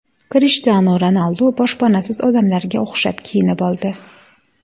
Krishtianu Ronaldu boshpanasiz odamlarga o‘xshab kiyinib oldi.